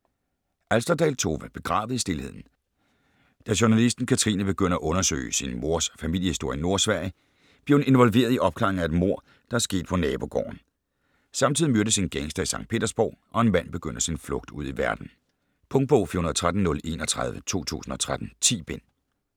Alsterdal, Tove: Begravet i stilheden Da journalisten Katrine begynder at undersøge sin mors familiehistorie i Nordsverige, bliver hun involveret i opklaringen af et mord, der er sket på nabogården. Samtidig myrdes en gangster i Sankt Petersborg, og en mand begynder sin flugt ud i verden. Punktbog 413031 2013. 10 bind.